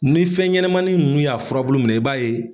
Ni fɛnɲɛnɛmanin ninnu y'a furabulu minɛ i b'a ye.